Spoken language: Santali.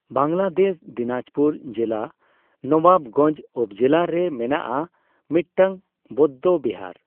ᱵᱟᱝᱞᱟᱫᱮᱥ ᱫᱤᱱᱟᱡᱯᱩᱨ ᱡᱮᱞᱟ ᱱᱚᱵᱟᱵᱜᱚᱸᱡᱚ ᱩᱯᱚᱡᱮᱞᱟ ᱨᱮ ᱢᱮᱱᱟᱜᱼᱟ ᱢᱤᱫᱴᱟᱝ ᱵᱳᱫᱫᱚ ᱵᱤᱦᱟᱨ᱾